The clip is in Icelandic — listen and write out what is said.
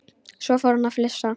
Svo fór hann að flissa.